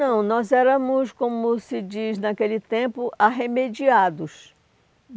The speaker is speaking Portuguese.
Não, nós éramos, como se diz naquele tempo, arremediados.